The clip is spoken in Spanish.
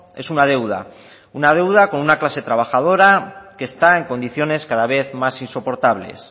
es una deuda una deuda con una clase trabajadora que está en condiciones cada vez más insoportables